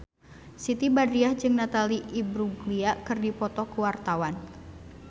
Siti Badriah jeung Natalie Imbruglia keur dipoto ku wartawan